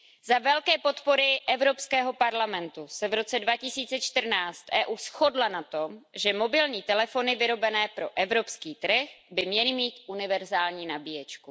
Za velké podpory Evropského parlamentu se v roce 2014 EU shodla na tom, že mobilní telefony vyrobené pro evropský trh by měly mít univerzální nabíječku.